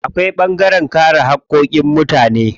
Akwai ɓangaren kare haƙƙoƙin mutane.